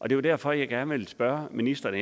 jo derfor jeg gerne vil spørge ministeren